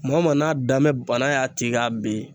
Maa o maa n'a danbɛ bana y'a ti k'a ben